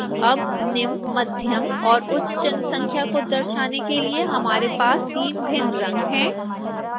अब निम्न मध्यम और उच्च जनसंख्या को दर्शाने के लिए हमारे पास 3 भिन्न रंग हैं